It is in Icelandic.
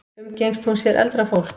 Umgengst hún sér eldra fólk?